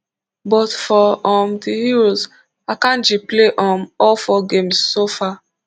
but for um dis euros akanji play um all four games so far